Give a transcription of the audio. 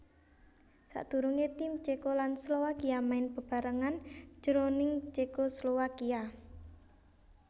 Sadurungé tim Ceko lan Slowakia main bebarengan jroning Cekoslowakia